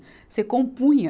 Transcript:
Você compunha.